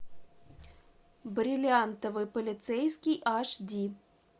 бриллиантовый полицейский аш ди